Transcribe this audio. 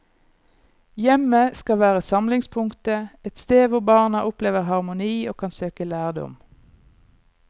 Hjemmet skal være samlingspunktet, et sted hvor barna opplever harmoni og kan søke lærdom.